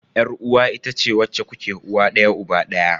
Yar uwa itace wacce kuke uwa daya uba daya.